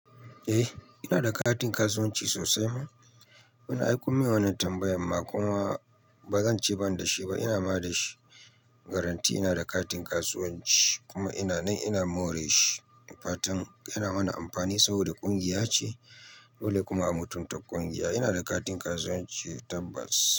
Eh ina da katin kasuwanci sosai ma. Ai kun mea wannan tambayan ma kuma ba zan ce ban da shi ba. Ina ma da shi. Garanti ina da katin kasuwanci kuma ina nan ina more shi. Ni fatan yana mana amfani saboda ƙungiya ce dole kuma a mutunta ƙungiya. Ina da katin kasuwanci tabbas.